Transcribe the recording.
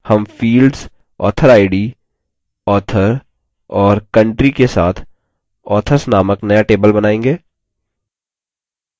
हम fields authorid author और country के साथ authors नामक नया table बनाएँगे